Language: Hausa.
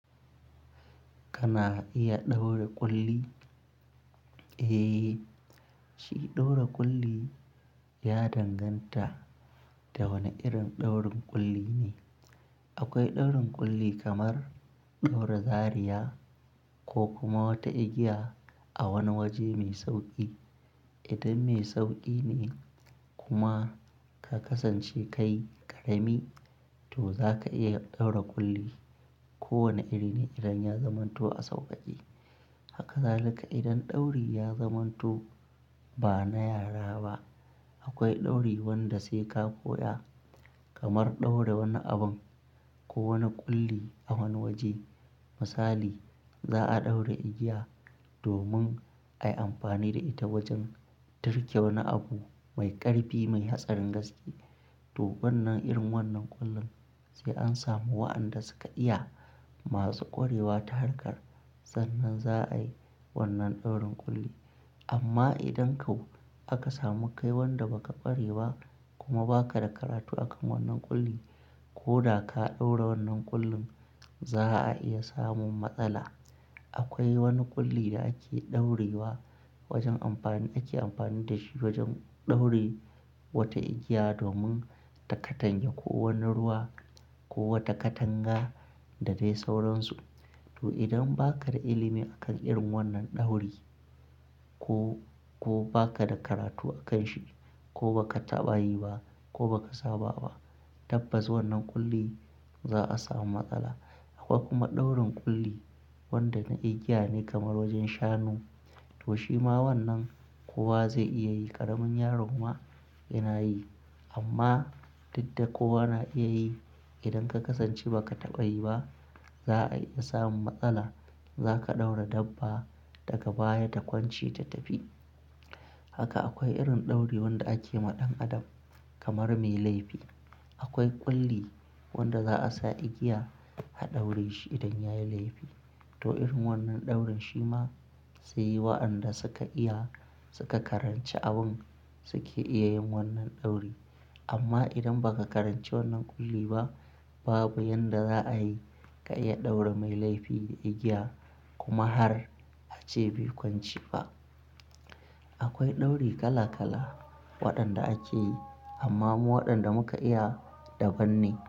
Kana iya ɗaura ƙulli? Eh, shi ɗaura ƙulli ya danganta da wane irin ɗaurin ƙulli ne. Akwai ɗaurin ƙulli kamar ɗaura zariya ko kuma wata igiya a wani waje mai sauƙi. Idan mai sauƙi ne kuma ka kasance kai ƙarami, to za ka iya ɗaura ƙulli. Kowane iri ne idan ya zamanto a sauƙaƙe. Haka zalika idan ɗauri ya zamanto ba na yara ba, akwai ɗauri wanda sai ka koya, kamar ɗaura wani abun ko wani ƙulli a wani waje. Misali, za'a ɗaura igiya domin ayi amfani da ita wajen turke wani abu mai ƙarfi, mai hatsarin gaske. To wannan irin wannan ƙullin sai an samu waɗanda suka iya, masu ƙwarewa ta harkar sannan za'a yi wannan ɗaurin ƙulli. Amma idan ko aka samu kai wanda ba ka ƙware ba kuma ba ka da karatu akan wannan ƙulli ko da ka ɗaura wannan ƙullin, za'a iya samun matsala. Akwai wani ƙulli da ake ɗaurewa wajen amfani, ake amfani da shi wajen ɗaure wata igiya domin ta katange ko wani ruwa ko wata katanga da dai sauransu. To idan ba ka da ilimi akan irin wannan ɗauri ko, ko ba ka da karatu a kan shi ko ba ka taɓa yi ba ko ba ka saba ba, tabbas wannan ƙulli za'a samu matsala. Akwai kuma ɗaurin ƙulli wanda na igiya ne kamar wajen shanu. To shi ma wannan kowa zai iya yi, ƙaramin yaro ma yana yi. Amma duk da kowa na iya yi, idan ka kasance ba ka taɓa yi ba, za'a iya samun matsala. Za ka ɗaura dabba daga baya ta kwance ta tafi. Haka akwai irin ɗauri wanda ake ma ɗan adam kamar mai laifi. Akwai ƙulli wanda za'a sa igiya a ɗaure shi idan ya yi laifi. To irin wannan ɗaurin shi ma sai waɗanda suka iya, suka karanci abin suke iya yin wannan ɗauri. Amma idan ba ka karanci wannan ƙulli ba, babu yanda za'a yi ka iya ɗaure mai laifi da igiya kuma har a ce bai kwance ba. Akwai ɗauri kala kala waɗanda ake yi amma mu waɗanda muka iya daban ne.